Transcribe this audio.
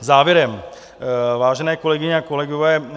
Závěrem, vážené kolegyně a kolegové.